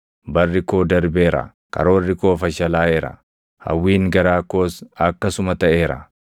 Barri koo darbeera; karoorri koo fashalaaʼeera; hawwiin garaa koos akkasuma taʼeera.